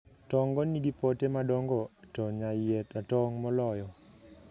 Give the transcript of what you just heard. tong' go nigi pote madongo to nyaiye ratong' moloyo